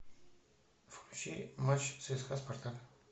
включи матч цска спартак